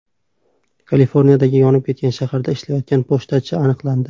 Kaliforniyadagi yonib ketgan shaharda ishlayotgan pochtachi aniqlandi .